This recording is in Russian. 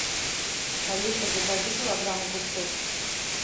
алиса закажи килограмм огурцов